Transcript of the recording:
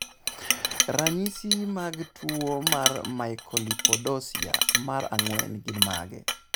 Ranyi mag tuwo mar Mucolipidosis mar 4 gin mage?